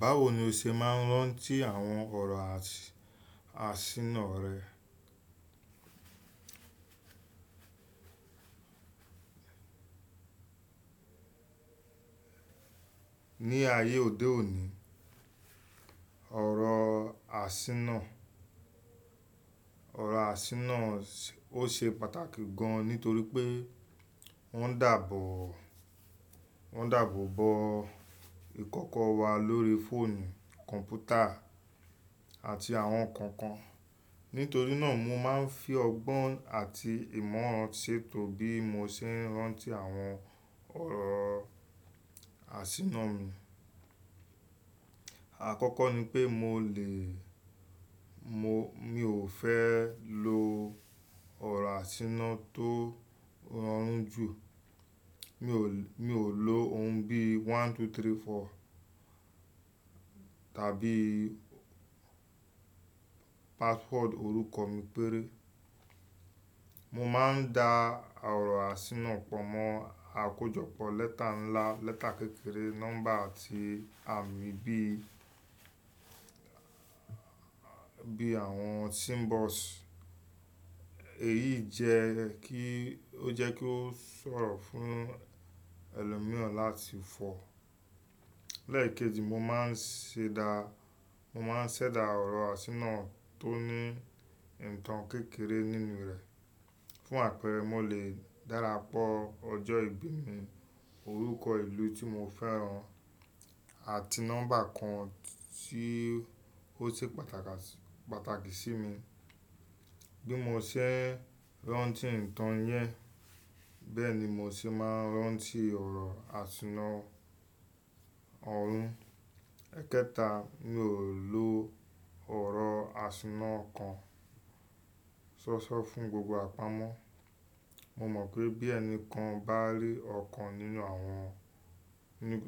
Báwo ni o ṣe máa ń rántí àwọn ọ̀rọ̀ àsínà rẹ? Ni ayé òde òní ọ̀rọ̀ àsínà, ọ̀rọ̀ àsínà ó ṣe pàtàkì gan nítorí pé wọ́n dàbo, wọ́n dàbo bo ìkọ́kọ́ wa lórí fóònù, kọ̀npútà àti àwọn kànkan. Nítorínà mo máa ń fi ọgbọ́n àti ìmọ̀ràn ṣètò bí mo ṣe ń rántí àwọn ọ̀rọ̀ àsínà mi. Àkọ́kọ́ ní pé mo lè, mo, mi ò fẹ́ lo ọ̀rọ̀ àsínà tó rọrùn jù. Mi ò, mi ò lò ohun bí one two three four tàbí password orúkọ mi péré. Mo máa ń da ọ̀rọ̀ àsínà pọ̀ mọ́ àkójọpọ̀ lẹ́tà ńlá, lẹ́tà kékeré, nọ́mbà àti àmì bí, bí àwọn symbols. Èyí jẹ́ kí, ó jẹ́ kí ó ṣòro fún ẹlòmíràn láti fọ̀. Lẹ́ẹ̀keji mo máa ń ṣẹda, mo máa ń ṣẹ̀dá ọ̀rọ̀ àsínà tó ní nnkàn kékeré nínú rẹ̀. Fún àpẹẹrẹ mo lè darapọ̀ ọjọ́ ìbí mi, orúkọ ìlú tí mo fẹ́ràn àti nọ́mbà kan tí ó ṣe pàtàkì, pàtàkì sí mi. Bí mo ṣe ń rántí ìtàn yẹn, bẹ́ẹ̀ ni mo ṣe máa ń rántí ọ̀rọ̀ àsínà ọ̀rún. Ẹ̀kẹta, mi ò lo ọ̀rọ̀ àsínà kan ṣóṣó fún gbogbo àpamọ́. Mo mọ̀ pé bí ẹnìkan bá rí ọ̀kan nínú àwọn,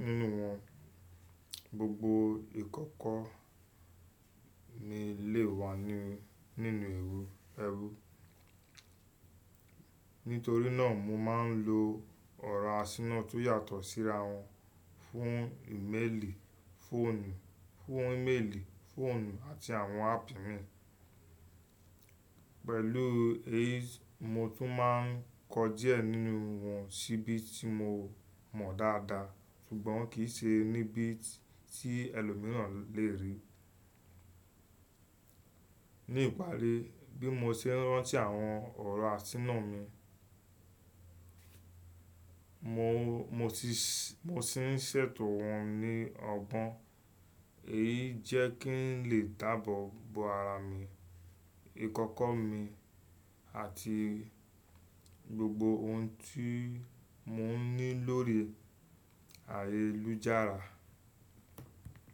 nínú wọn gbogbo ìkọ́kọ́ ní lè wà nínú, nínú ẹrú. Nítorínà mo máa ń lo ọ̀rọ̀ àsínà tó yàtọ̀ síra wọn fún ìméèlì, fóònù, fún ìméèlì, fóònù àti àwọn áàpù mi. Pẹ̀lú èyí mo tún máa ń kọ díẹ̀ nínú wọn síbi tí mo mọ̀ dáadáa ṣùgbọ́n kì í ṣe níbi tí ẹlòmíràn lè rí. Ní ìparí bí mo ṣe ń rántí àwọn ọ̀rọ̀ àsínà mi, mo, mo ti, mo ti ń ṣètò wọn ní ọgbọ́n. Èyí jẹ́ kí n lè dàbọ̀ bo ara mi, ìkọ́kọ́ mi àti gbogbo ohun tí mo ní lórí ayélujára.